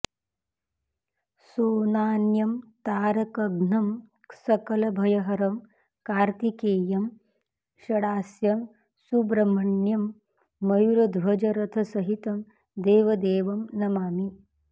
सोनान्यं तारकघ्नं सकलभयहरं कार्तिकेयं षडास्यं सुब्रह्मण्यं मयूरध्वजरथसहितं देवदेवं नमामि